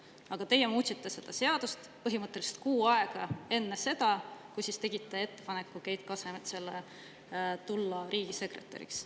Aga teie muutsite seda seadust põhimõtteliselt kuu aega enne seda, kui tegite ettepaneku Keit Kasemetsale tulla riigisekretäriks.